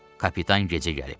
Kapitan gecə gəlib.